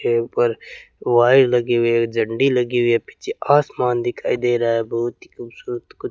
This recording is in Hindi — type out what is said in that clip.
यहीं पर वायर लगे हुए हैं झंडी लगी हुई है पीछे आसमान दिखाई दे रहा है बहुत ही खूबसूरत कुछ --